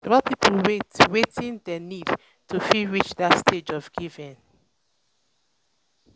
support pipo with wetin dem need to fit reach that stage of giving